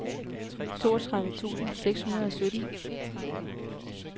toogtredive tusind seks hundrede og sytten